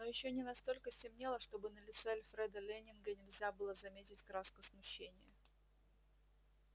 но ещё не настолько стемнело чтобы на лице альфреда лэннинга нельзя было заметить краску смущения